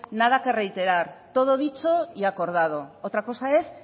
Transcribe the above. nada que reiterar todo dicho y acordado otra cosa es